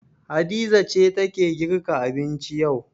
Hadiza ce take girka abinci yau.